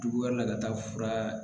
Jugu wɛrɛ ka taa fura